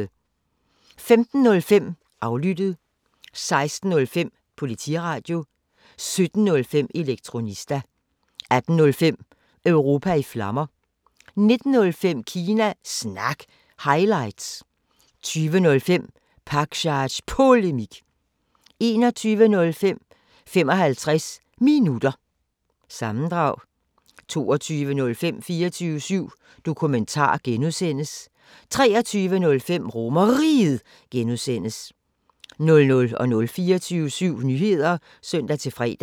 15:05: Aflyttet 16:05: Politiradio 17:05: Elektronista 18:05: Europa i Flammer 19:05: Kina Snak – highlights 20:05: Pakzads Polemik 21:05: 55 Minutter – sammendrag 22:05: 24syv Dokumentar (G) 23:05: RomerRiget (G) 00:00: 24syv Nyheder (søn-fre)